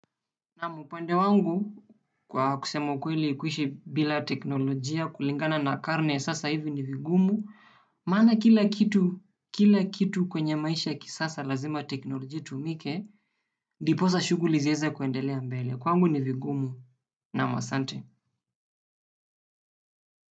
Naam upande wangu kwa kusema kweli kuishi bila teknolojia kulingana na karne sasa hivi ni vigumu. Maana kila kitu kwenye maisha ya kisasa lazima teknolojia itumike ndiposa shuguli ziweze kuendelea mbele. Kwangu ni vigumu naam asante.